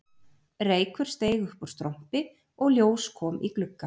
Reykur steig upp úr strompi og ljós kom í glugga